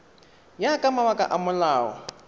ya ka mabaka a molao